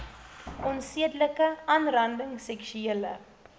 onsedelike aanranding seksuele